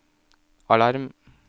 alarm